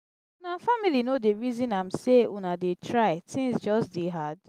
una family no dey resin am sey una dey try tins just dey hard.